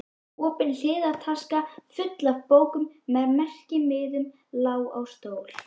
Opin hliðartaska, full af bókum með merkimiðum, lá á stól.